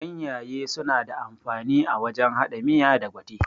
Ganyaye suna da amfani a wajen haɗa miya da gwate